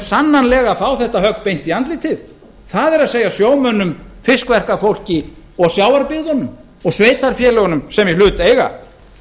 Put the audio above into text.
sannarlega fá þetta högg beint í andlitið það er sjómönnum fiskverkunarfólki og sjávarbyggðunum og sveitarfélögunum sem í hlut eiga